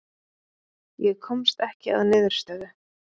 Ég komst ekki að niðurstöðu.